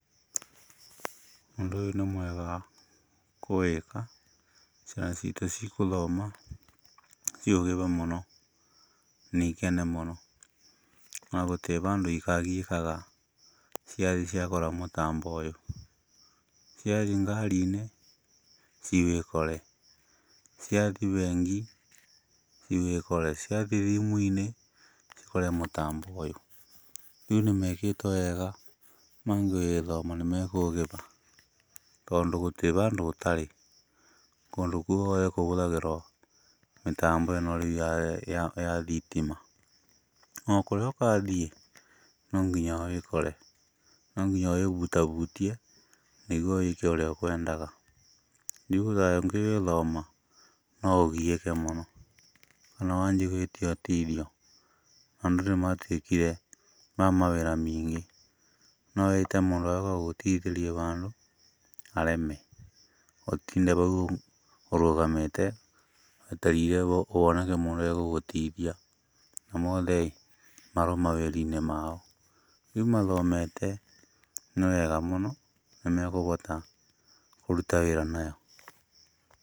Ũndũ ũyũ nĩ mwega kũwĩka, ciana ciitũ cigũthoma, ciũhĩge mũno. Na ikene mũno. Na gũtirĩ handũ ikagiĩkaga ciakora mũtambo ũyũ. Ciathiĩ ngari-inĩ, ciũkore. Ciathiĩ bengi, ciũkore, ciathiĩ thimũ-inĩ, cikore mũtambo ũyũ. Rĩu nĩmekĩtwo wega, mangĩgĩthoma nĩmekũhĩga, tondũ gũtirĩ handũ ũtarĩ, kũndũ guothe kũhũthagĩra mĩtambo ĩno rĩu ya thitima. O kũrĩa ũgathiĩ no nginya ũũkore. No nginya ũhutahutie, nĩguo wĩĩke ũrĩa ũkwendaga. Rĩu ũtangĩgĩthoma, no ũgiĩke mũno. Ona wanjia gwĩtia ũteithio, andũ nĩmatuĩkire a mawĩra maingĩ. No wĩte mũndũ agũteithĩrĩrie handũ, hareme, ũtinde hau ũrũgamĩte wetereire honeke mũndũ ũgũgũteithia, na othe marĩ mawĩra-inĩ mao. Rĩu mathomete, nĩ wega mũno, nĩmekũhota kũruta wĩra nayo.